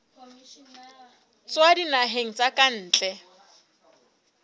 tswa dinaheng tsa ka ntle